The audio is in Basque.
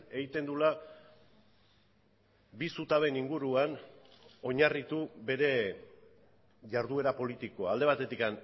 egiten duela bi zutabeen inguruan oinarritu bere jarduera politikoa alde batetik